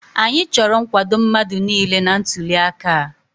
Anyị chọrọ nkwado mmadụ niile na ntuliaka a.